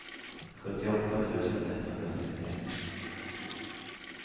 sjuttioåtta tusen etthundrasextioett